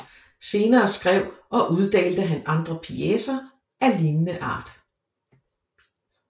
Senere skrev og uddelte han andre pjecer af lignende art